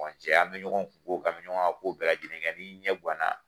cɛ an bɛ ɲɔgɔn kun ko kɛ, an bɛ ɲɔgɔn ka ko bɛɛ lajɛlen kɛ ni ɲɛ guanna.